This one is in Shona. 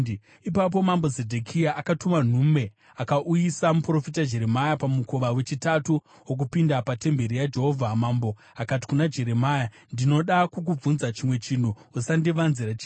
Ipapo mambo Zedhekia akatuma nhume akauyisa muprofita Jeremia pamukova wechitatu wokupinda patemberi yaJehovha. Mambo akati kuna Jeremia, “Ndinoda kukubvunza chimwe chinhu. Usandivanzira chinhu.”